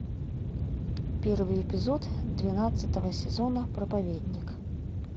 первый эпизод двенадцатого сезона проповедник